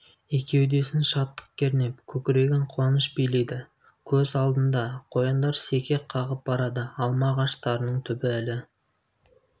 екеудесін шаттық кернеп көкірегін қуаныш билейді көз алдында қояндар секек қағып барады алма ағаштарының түбі әлі